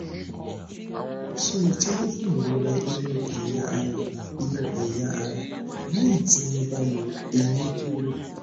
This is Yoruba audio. so itọju fún ìrora inú ẹyà ara inú ẹyà ara lẹyìn tí wọn bá yọ eyín kúrò